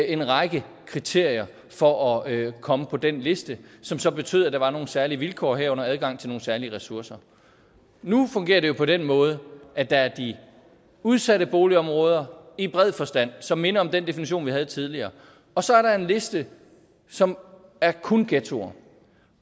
en række kriterier for at komme på den liste som så betød at der var nogle særlige vilkår herunder adgang til nogle særlige ressourcer nu fungerer det på den måde at der er de udsatte boligområder i bred forstand som minder om den definition vi havde tidligere og så er der en liste som er kun ghettoer